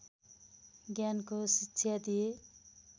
ज्ञानको शिक्षा दिए